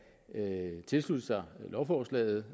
tilslutte sig lovforslaget